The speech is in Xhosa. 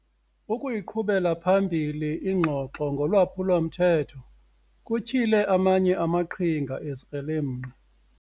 Ukuyiqhubela phambili ingxoxo ngolwaphulo-mthetho kutyhile amanye amaqhinga ezikrelemnqa.